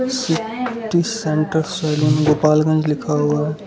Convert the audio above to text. City centre saloon Gopalganj लिखा हुआ।